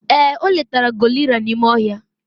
ee, o letara gorilla n'ime ohia